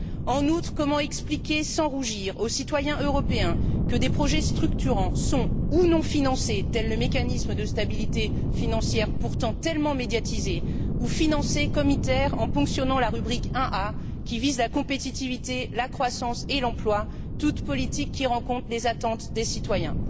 En outre, comment expliquer sans rougir aux citoyens européens que des projets structurants sont, soit non financés, tel le mécanisme de stabilité financière, pourtant tellement médiatisé, soit financés comme ITER, en ponctionnant la rubrique 1a, qui vise la compétitivité, la croissance et l'emploi, toutes politiques qui rencontrent les attentes des citoyens?